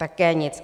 Také nic.